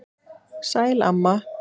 Sæl, amma.